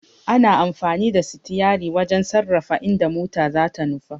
Ana amfani da sitiyari wajen sarrafa inda mota zata nufa.